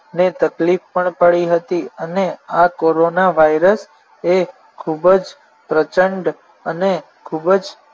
ને તકલીફ પણ પડી હતી અને આ corona virus એ ખૂબ જ પ્રચંડ અને ખૂબ જ